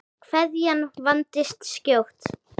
Kveðjan vandist skjótt.